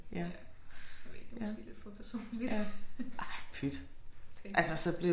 Ja du ved det var måske lidt for personligt skal